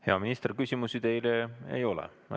Hea minister, küsimusi teile ei ole.